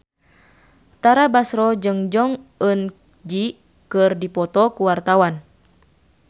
Tara Basro jeung Jong Eun Ji keur dipoto ku wartawan